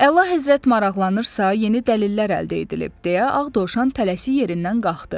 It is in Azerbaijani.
Əlahəzrət maraqlanırsa, yeni dəlillər əldə edilib deyə Ağ Dovşan tələsik yerindən qalxdı.